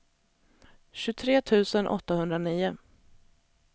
tjugotre tusen åttahundranio